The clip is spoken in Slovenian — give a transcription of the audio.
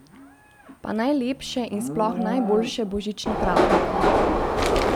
Pa najlepše in sploh najboljše božične praznike!